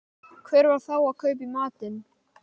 Hvar á þá að kaupa í matinn?